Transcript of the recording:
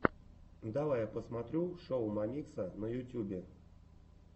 давай я посмотрю шоу мамикса на ютюбе